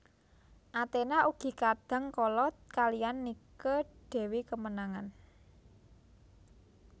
Athena ugi kadang kala kalihan Nike dewi kemenangan